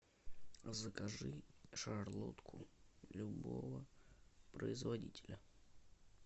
закажи шарлотку любого производителя